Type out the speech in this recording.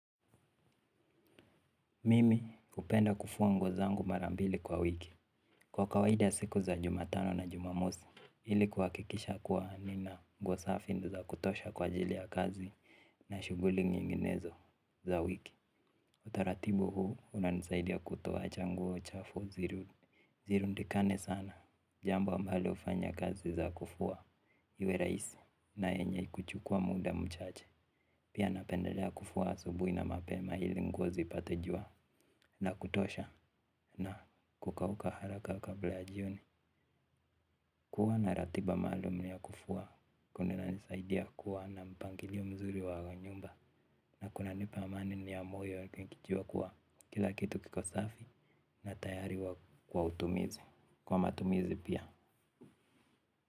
Mimi hupenda kufua nguo zangu mara mbili kwa wiki. Kwa kawaidi siku za jumatano na jumamosi ili kuhakikisha kuwa nina nguo safi na za kutosha kwa ajili ya kazi na shughuli nyinginezo za wiki. Utaratibu huu unanisaidia kutoa cha nguo chafu ziru. Ziru ndikane sana. Jambo ambalo hufanya kazi za kufua. Iwe rahisi na enye kuchukua muda mchache. Pia napendelea kufua asubuhi na mapema ili nguo zipate jua. Na kutosha na kukauka haraka kabla ya jioni. Kuwa na ratiba maalum ya kufua kuna nisaidia kuwa na mpangilio mzuri wa nyumba. Na kuna nipa amani ni ya moyo nikijua kuwa kila kitu kiko safi na tayari huwa kwa utumizi. Kwa matumizi pia.